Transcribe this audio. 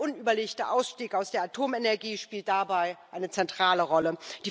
Der unüberlegte Ausstieg aus der Atomenergie spielt dabei eine zentrale Rolle.